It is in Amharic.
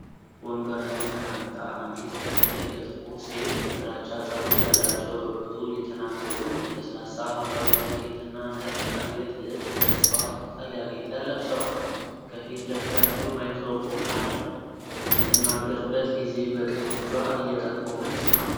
ወንበር ላይ ተቀምጣ አንዲት በዕድሜ የገፉ ሴት ግራጫ ፀጉር ያላቸው በብርቱ እየተናገሩ ነው። ለስላሳ ሐምራዊ ጃኬት እና ነጭ የአንገት ልብስ በእፅዋት ቅጠል ያጌጠ ለብሰዋል። ከፊት ለፊታቸው ማይክሮፎን አለ። በምትናገርበት ጊዜ፣ በቀኝ እጇ እየጠቆመች ነው።